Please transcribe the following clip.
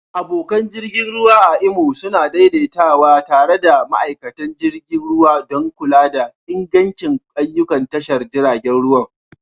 Abokan jirgi ruwa a Imo suna daidaitawa tare da ma'aikatan jirgin ruwa don kula da ingancin ayyukan tashar jiragen ruwa.